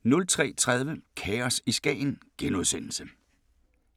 03:30: Kaos i Skagen *